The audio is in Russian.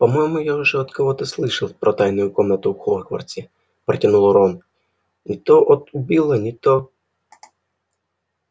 по-моему я уже от кого-то слышал про тайную комнату в хогвартсе протянул рон не то от билла не то